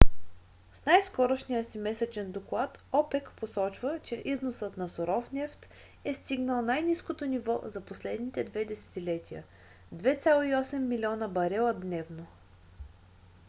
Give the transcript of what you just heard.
в най-скорошния си месечен доклад опек посочва че износът на суров нефт е стигнал най-ниското ниво за последните две десетилетия - 2,8 милиона барела дневно